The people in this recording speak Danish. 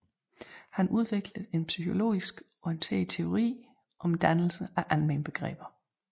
Han udviklede en psykologisk orienteret teori om dannelsen af almenbegreber